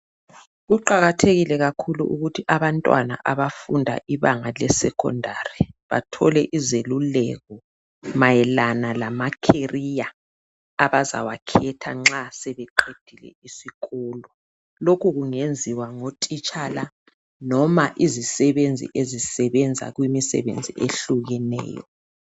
Kuqakathekile kakhulu ukuthi abantwana abafunda ezingeni le secondary bathole izeluleko mayelana lama career abazawakhetha nxa sebeqedile isikolo. Lokhu kungenziwa ngotitshala loba izisebenzi ezisebenza kumisebenzi ehlukeneyo.